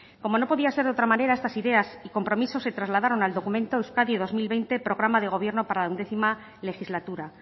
como no podía ser de otra manera estas ideas y compromisos se trasladaron al documento euskadi dos mil veinte programa de gobierno para la once legislatura